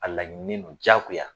A laɲini don diyagoya